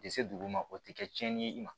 Tɛ se dugu ma o tɛ kɛ tiɲɛni ye i ma